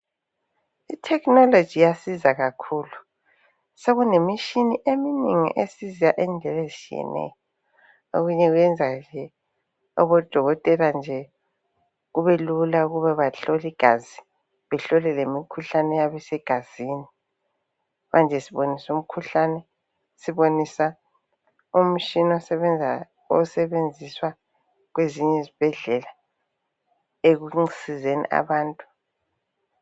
Ithekhinoloji iyasiza kakhulu, sekulemitshina eminengi esiza indlela ezitshiyeneyo. Okunye kuyenza odokotela nje ukuba kubelula ukuba bahlole igazi behlole lemikhuhlane eyabe isegazini. Manje siboniswa umkhuhlane, siboniswa umtshina osebenziswa kwezinye izibhedlela ekusizeni abantu